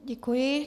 Děkuji.